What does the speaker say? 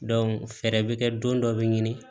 fɛɛrɛ bɛ kɛ don dɔ be ɲini